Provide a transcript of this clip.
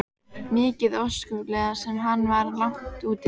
Mikið óskaplega sem hann var langt úti.